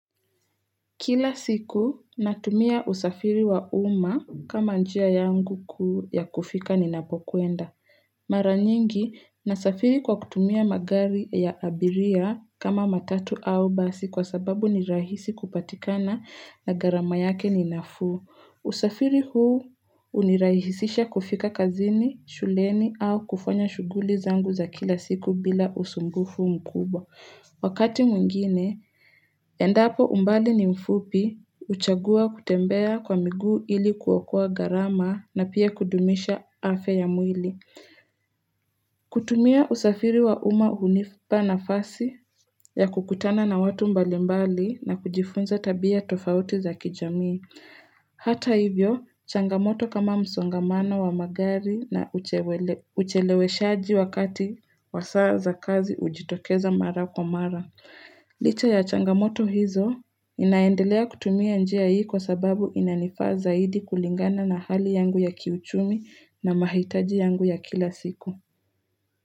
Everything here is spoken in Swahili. Kila siku natumia usafiri wa umma kama njia yangu kuu ya kufika ninapokwenda. Mara nyingi nasafiri kwa kutumia magari ya abiria kama matatu au basi kwa sababu ni rahisi kupatikana na gharama yake ni nafuu. Usafiri huu hunirahisisha kufika kazini, shuleni au kufanya shughuli zangu za kila siku bila usumbufu mkubwa. Wakati mwingine, endapo umbali ni mfupi, huchagua kutembea kwa miguu ili kuokoa gharama na pia kudumisha afya mwili. Kutumia usafiri wa umma hunipa nafasi ya kukutana na watu mbalimbali na kujifunza tabia tofauti za kijamii. Hata hivyo, changamoto kama msongamano wa magari na ucheleweshaji wakati wa saa za kazi hujitokeza mara kwa mara. Licha ya changamoto hizo ninaendelea kutumia njia hii kwa sababu inanifaa zaidi kulingana na hali yangu ya kiuchumi na mahitaji yangu ya kila siku.